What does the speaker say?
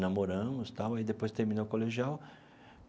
Namoramos e tal, aí depois terminou o colegial.